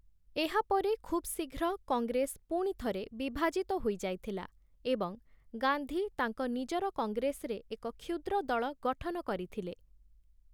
ଏହା ପରେ ଖୁବ୍ ଶୀଘ୍ର, କଂଗ୍ରେସ ପୁଣିଥରେ ବିଭାଜିତ ହୋଇଯାଇଥିଲା ଏବଂ ଗାନ୍ଧୀ ତାଙ୍କ ନିଜର କଂଗ୍ରେସରେ ଏକ କ୍ଷୁଦ୍ରଦଳ ଗଠନ କରିଥିଲେ ।